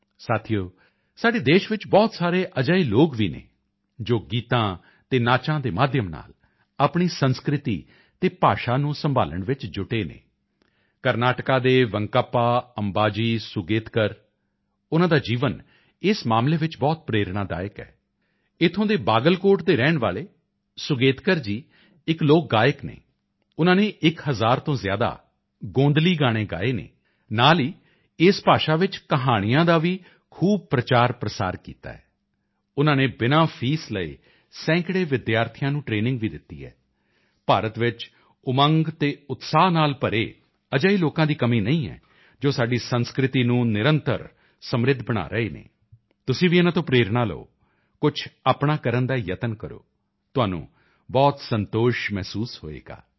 ਸਾਥੀਓ ਸਾਡੇ ਦੇਸ਼ ਵਿੱਚ ਬਹੁਤ ਸਾਰੇ ਅਜਿਹੇ ਲੋਕ ਵੀ ਹਨ ਜੋ ਗੀਤਾਂ ਅਤੇ ਨਾਚਾਂ ਦੇ ਮਾਧਿਅਮ ਨਾਲ ਆਪਣੀ ਸੰਸਕ੍ਰਿਤੀ ਅਤੇ ਭਾਸ਼ਾ ਨੂੰ ਸੰਭਾਲਣ ਵਿੱਚ ਜੁਟੇ ਹਨ ਕਰਨਾਟਕਾ ਦੇ ਵੇਂਕੱਪਾ ਅੰਬਾਜੀ ਸੂਗੇਤਕਰ ਉਨ੍ਹਾਂ ਦਾ ਜੀਵਨ ਇਸ ਮਾਮਲੇ ਵਿੱਚ ਬਹੁਤ ਪ੍ਰੇਰਣਾਦਾਇਕ ਹੈ ਇੱਥੋਂ ਦੇ ਬਾਗਲਕੋਟ ਦੇ ਰਹਿਣ ਵਾਲੇ ਸੂਗੇਤਕਰ ਜੀ ਇਕ ਲੋਕ ਗਾਇਕ ਹਨ ਉਨ੍ਹਾਂ ਨੇ ਇਕ ਹਜ਼ਾਰ ਤੋਂ ਜ਼ਿਆਦਾ ਗੋਂਧਲੀ ਗਾਣੇ ਗਾਏ ਹਨ ਨਾਲ ਹੀ ਇਸ ਭਾਸ਼ਾ ਵਿੱਚ ਕਹਾਣੀਆਂ ਦਾ ਵੀ ਖੂਬ ਪ੍ਰਚਾਰਪ੍ਰਸਾਰ ਕੀਤਾ ਹੈ ਉਨ੍ਹਾਂ ਨੇ ਬਿਨਾਂ ਫੀਸ ਲਏ ਸੈਂਕੜੇ ਵਿਦਿਆਰਥੀਆਂ ਨੂੰ ਟਰੇਨਿੰਗ ਵੀ ਦਿੱਤੀ ਹੈ ਭਾਰਤ ਵਿੱਚ ਉਮੰਗ ਅਤੇ ਉਤਸ਼ਾਹ ਨਾਲ ਭਰੇ ਅਜਿਹੇ ਲੋਕਾਂ ਦੀ ਕਮੀ ਨਹੀਂ ਜੋ ਸਾਡੀ ਸੰਸਕ੍ਰਿਤੀ ਨੂੰ ਨਿਰੰਤਰ ਸਮਿ੍ਰਧ ਬਣਾ ਰਹੇ ਹਨ ਤੁਸੀਂ ਵੀ ਇਨ੍ਹਾਂ ਤੋਂ ਪ੍ਰੇਰਣਾ ਲਓ ਕੁਝ ਆਪਣਾ ਕਰਨ ਦਾ ਯਤਨ ਕਰੋ ਤੁਹਾਨੂੰ ਬਹੁਤ ਸੰਤੋਸ਼ ਮਹਿਸੂਸ ਹੋਵੇਗਾ